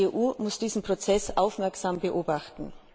Die EU muss diesen Prozess aufmerksam beobachten.